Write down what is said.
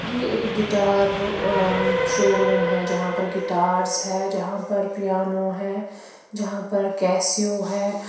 ये एक guitar uh showroom है जहाँ पर गिटार्स है जहाँ पर पियानो है जहाँ पर कैसियो है।